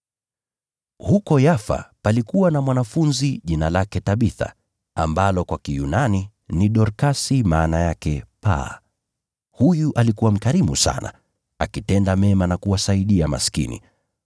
Huko Yafa palikuwa na mwanafunzi jina lake Tabitha (ambalo kwa Kiyunani ni Dorkasi ). Huyu alikuwa mkarimu sana, akitenda mema na kuwasaidia maskini.